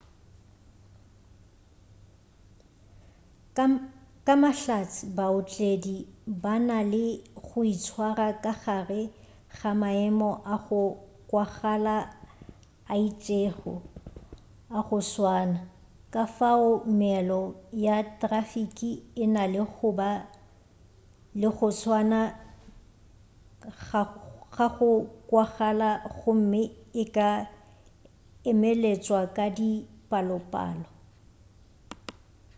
ka mahlatse baotledi ba na le go itshwara ka gare ga maemo a go kwagala a itšego a go swana kafao meelo ya trafiki e na le go ba le go swana ga go kwagala gomme e ka emeletšwa ka dipalopalo